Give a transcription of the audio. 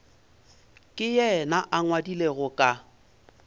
ka yena a ngwadilego ka